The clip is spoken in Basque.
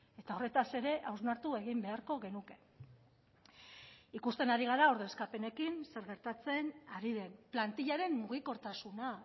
eta horretaz ere hausnartu egin beharko genuke ikusten ari gara ordezkapenekin zer gertatzen ari den plantillaren mugikortasuna